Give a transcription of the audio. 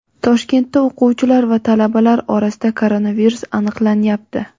Toshkentda o‘quvchilar va talabalar orasida koronavirus aniqlanyapti.